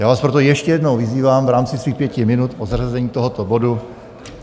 Já vás proto ještě jednou vyzývám v rámci svých pěti minut o zařazení tohoto bodu.